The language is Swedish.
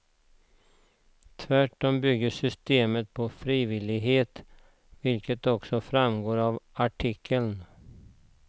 Tvärtom bygger systemet på frivillighet, vilket också framgår av artikeln.